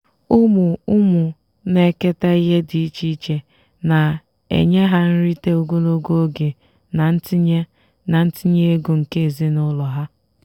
ụmụ ụmụ na-eketa ihe dị iche iche na-enye ha nrite ogologo oge na ntinye na ntinye ego nke ezinụlọ ha.